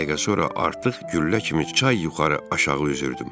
Bir dəqiqə sonra artıq güllə kimi çay yuxarı, aşağı üzürdüm.